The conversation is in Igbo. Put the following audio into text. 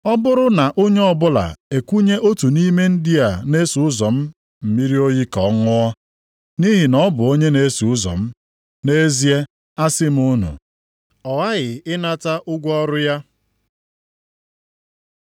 Ọ bụrụ na onye ọbụla ekunye otu nʼime ndị a na-eso ụzọ m mmiri oyi ka ọ ṅụọ, nʼihi na ọ bụ onye na-eso ụzọ m, nʼezie, asị m unu, ọ ghaghị ịnata ụgwọ ọrụ ya.”